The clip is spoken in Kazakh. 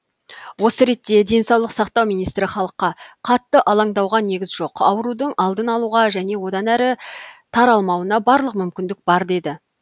осы ретте денсаулық сақтау министрі халыққа қаттың алаңдауға негіз жоқ аурудың алдын алуға және одан әрі таралмауына барлық мүмкіндік бар деді